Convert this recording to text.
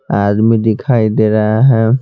आदमी दिखाई दे रहा है।